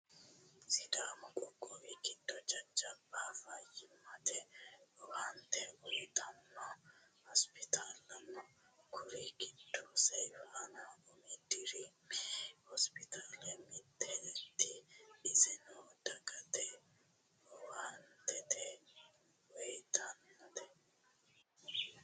Sidaammu qoqqowwi giddo jajjabba fayimatte owannitte uyittanno hosiptaale noo kuri giddono seyifaana umi dirimi hospital mittete issenno daggate owannitte uyittannote